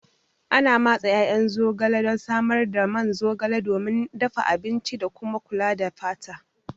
Ana matse ƴaƴan zogale don samar da man zogale domin dafa abinci da kuma kula da fata.